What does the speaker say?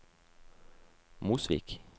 Mosvik